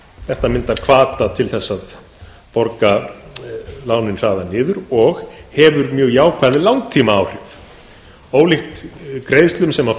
þetta myndar hvata til að borga lánin hraðar niður og hefur mjög jákvæð langtímaáhrif ólíkt greiðslum sem